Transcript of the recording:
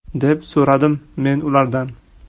deb so‘radim men ulardan.